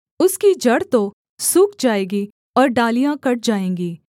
उसकी जड़ तो सूख जाएगी और डालियाँ कट जाएँगी